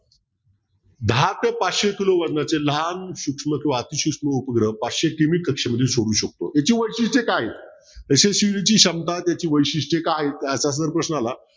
दहा ते पाचशे किलो वजनाचे लहान सूक्ष्म अतिसूक्ष्म उपग्रह पाचशे किलोमीटर कक्षेमध्ये सोडू शकतो याची वैशिष्ट्ये काय तर क्षमता त्याची वैशिष्ट्ये काय असा प्रश्न आला असता